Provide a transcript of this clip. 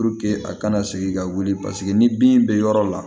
a kana segin ka wuli paseke ni bin bɛ yɔrɔ la